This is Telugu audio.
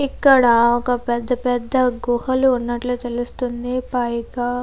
ఇక్కడ ఒక పెద్ద పెద్ద గుహలు ఉన్నట్లు తెలుస్తుంది పైగా --